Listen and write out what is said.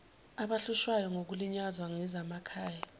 abahlushwayo bekulinyazwa ngezasemakhay